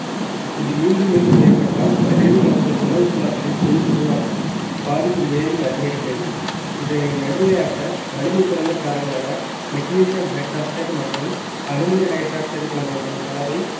இது மீண்டும் மீண்டும் ஏற்பட்டால் வயிறு மற்றும் உணவுக் குழாய்களில் புண் உருவாகி பாதிப்பு மேலும் அதிகரிக்கிறது இதனை நடுநிலையாக்க வலிமை குறைந்த காரங்களான magnesium hydroxide மற்றும் aluminium hydroxide போன்றவற்றின் கலவை